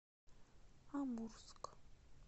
амурск